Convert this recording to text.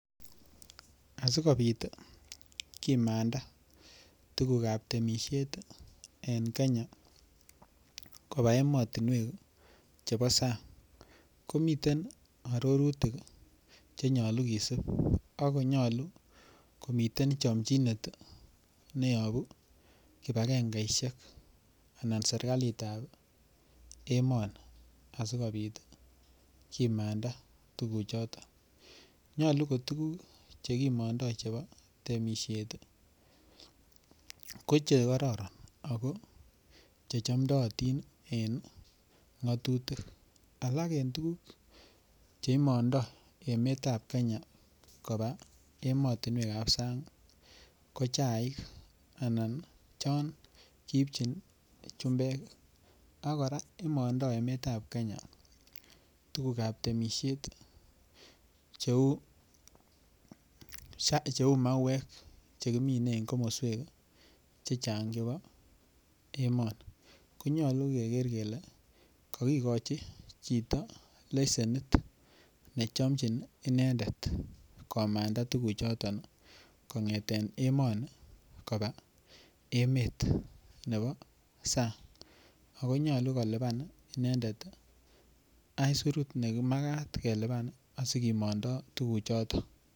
Asikobit kimanda tukuk ap temisiet en Kenya koba emotunwek chebo sang komiten arorutik chenyolu kesip akonyolu komiten chomchinet neyoku kibakengeishek anan serikalit ap emoni asikobit kimanda tukuchoto nyolu ko tukuk chekimondoi chebo temisiet ko chekororon ako che chomdootin en ngatutik alak eng tukuk cheimondo emet ap Kenya koba emotunwek ap sang ko chaik anan chon kiipchin chumbek akora imondoi emet ap Kenya tukuk ap temishet cheu mauek chekimine en komoswek che chang chebo emoni konyolu koker kele kakikochi chito lesenit nechomchin inendet komanda tukuchoton kongeten emoni koba emet nebo sang akonyolu kolipan inendet isurut nemakat kelipan asikimanda tukuk choton.